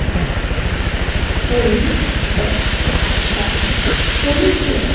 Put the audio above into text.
polybag বা থলি হলেও